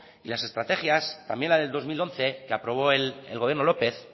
y las estrategias también las del dos mil once que aprobó el gobierno lópez